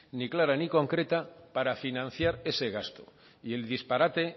ni clara ni concreta para financiar ese gasto y el disparate